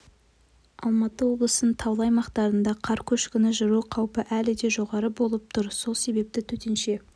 алматы облысының таулы аймақтарында қар көшкіні жүру қаупі әлі де жоғары болып тұр сол себепті төтенше